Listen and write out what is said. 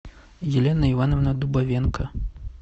елена ивановна дубовенко